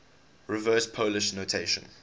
reverse polish notation